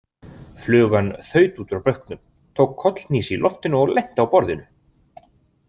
Flugan þaut út úr bauknum, tók kollhnís í loftinu og lenti á borðinu.